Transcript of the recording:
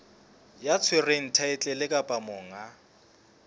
ya tshwereng thaetlele kapa monga